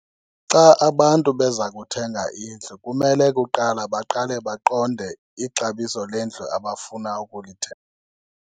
Xa abantu beza kuthenga indlu kumele kuqala baqale baqonde ixabiso lendlu abafuna .